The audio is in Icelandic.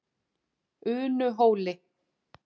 Unuhóli